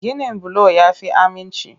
Ginin bulo ya fi aminci.